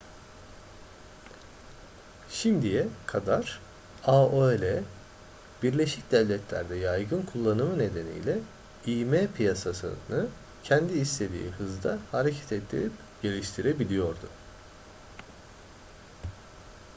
şimdiye kadar aol birleşik devletler'de yaygın kullanımı nedeniyle im piyasasını kendi istediği hızda hareket ettirip geliştirebiliyordu